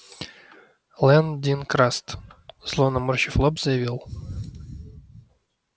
лэн дин краст зло наморщив лоб заявил